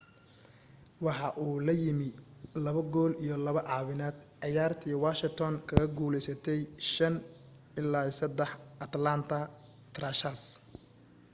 waxa uu la yimi 2 gool iyo 2 caawineed ciyaartii washington kaga guulaysatay5-3 atlanta thrashers